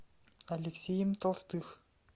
алексеем толстых